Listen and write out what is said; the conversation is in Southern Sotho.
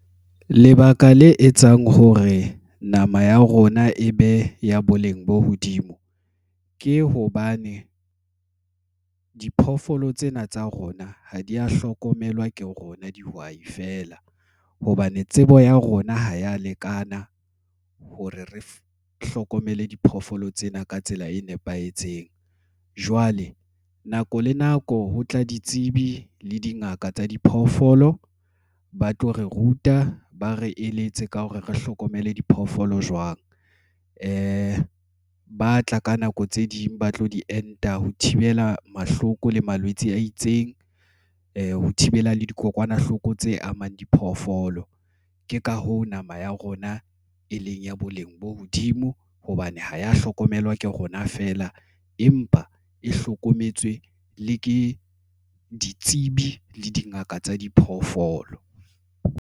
Lebaka le etsang hore nama ya rona e be ya boleng bo hodimo ke hobane diphoofolo tsena tsa rona ha di ya hlokomelwa ke rona dihwai feela hobane tsebo ya rona ha ya lekana hore re hlokomele diphoofolo tsena ka tsela e nepahetseng. Jwale nako le nako ho tla ditsebi le dingaka tsa diphoofolo. Ba tlo re ruta ba re eletse ka hore re hlokomele diphoofolo jwang, Ba tla ka nako tse ding ba tlo di enta. Ho thibela mahloko le malwetse a itseng ho thibela dikokwanahloko tse amang diphoofolo. Ke ka hoo, nama ya rona e leng ya boleng bo hodimo hobane ho ya hlokomelwa ke rona feela empa e hlokometswe le ke ditsebi le dingaka tsa diphoofolo.